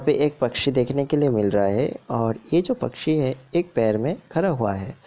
यहां पे एक पक्षी देखने के लिए मिल रहा है और ये जो पक्षी है एक पैर में खड़ा हुआ है।